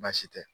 Baasi tɛ